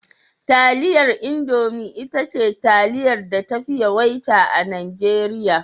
Taliyar Indomi ita ce taliyar da tafi yawaita a Najeriya.